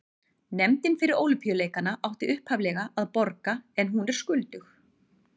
Nefndin fyrir Ólympíuleikana átti upphaflega að borga en hún er skuldug.